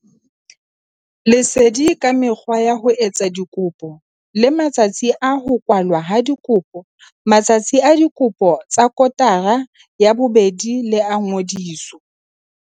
Lesedi ka mekgwa ya ho etsa dikopo le matsatsi a ho kwalwa ha dikopo. Matsatsi a dikopo tsa kotara ya bobedi le a ngodiso.